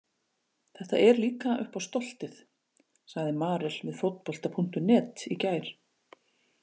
Þetta er líka upp á stoltið, sagði Marel við Fótbolta.net í gær.